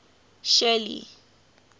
shelly